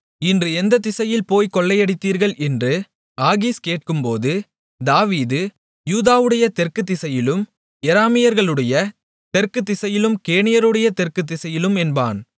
இன்று எந்த திசையில் போய்க் கொள்ளையடித்தீர்கள் என்று ஆகீஸ் கேட்கும்போது தாவீது யூதாவுடைய தெற்கு திசையிலும் யெராமியேலர்களுடைய தெற்கு திசையிலும் கேனியருடைய தெற்கு திசையிலும் என்பான்